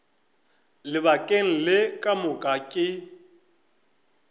lebakeng le ka moka ke